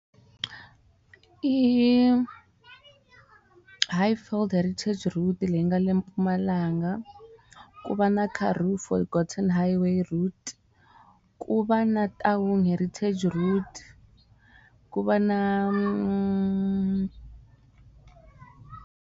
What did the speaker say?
I hi four route leyi nga le eMpumalanga ku va na car roof High way route ku va na ta wun'we heritage route ku va na.